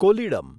Kollidam